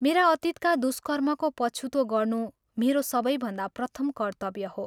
मेरा अतीतका दुष्कर्मको पछुतो गर्नु मेरो सबैभन्दा प्रथम कर्त्तव्य हो।